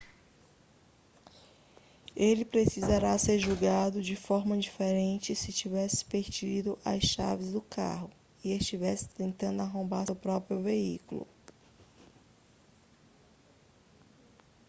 ele precisaria ser julgado de forma diferente se tivesse perdido as chaves do carro e estivesse tentando arrombar seu próprio veículo